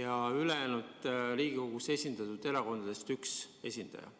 ja ülejäänud Riigikogus esindatud erakondadest üks esindaja?